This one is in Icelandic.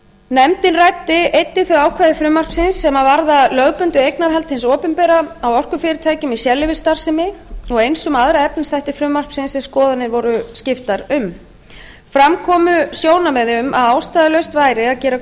nefndin ræddi einnig þau ákvæði frumvarpsins sem varða lögbundið eignarhald hins opinbera á orkufyrirtækjum í sérleyfisstarfsemi og eins um aðra efnisþætti frumvarpsins sem skoðanir voru skiptar um fram komu sjónarmið um að ástæðulaust væri að gera